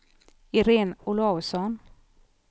Irene Olausson